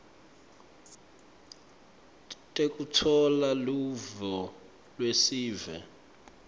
tekutfola luvo lwesive